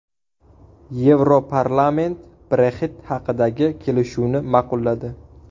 Yevroparlament Brexit haqidagi kelishuvni ma’qulladi.